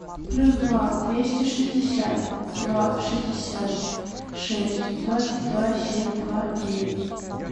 плюс два двести шестьдесят два шестьдесят шесть двадцать два семь два девять